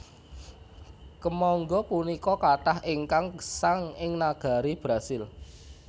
Kèmangga punika katah ingkang gèsang ing nagari Brasil